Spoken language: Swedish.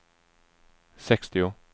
sextio